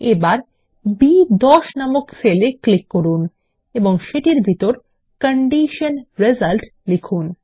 এবার বি10 নামক সেল এ ক্লিক করুন এবং সেটির ভিতর কন্ডিশন রিসাল্ট লিখুন